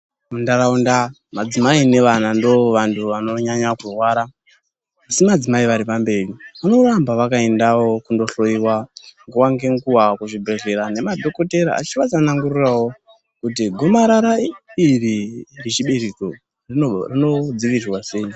Munharaunda madzimai nevana ndoo vantu vanonyanya kurwara asi madzimai aripamberi, vanoramba vakaendawo kundohloyiwa nguwa ngenguwa kuzvibhedhleya nemadhokodheya achivatsanangurirawo kuti gumarara iri rechibereko rinodzivirirwa sei.